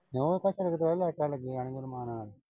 ਕਿਉਂ ਉਹ ਤਾਂ ਸਗੋਂ ਤੇ ਘਰੇ ਲੈਟਾਂ ਲੱਗੀਆਂ ਨੀ ਮਾਨ।